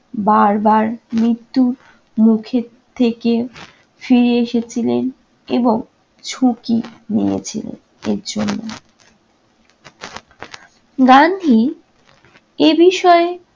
বারবার মৃত্যু মুখের থেকে ফিরে এসেছিলেন এবং ঝুঁকি নিয়েছিলেন এর জন্য। গান্ধী এ বিষয়ে